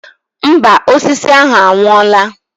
Mba, osisi ahụ anwụọla.